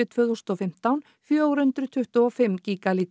tvö þúsund og fimmtán fjögur hundruð tuttugu og fimm